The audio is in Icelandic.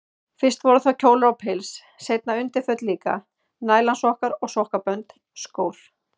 Fyrst voru það kjólar og pils, seinna undirföt líka, nælonsokkar og sokkabönd, skór.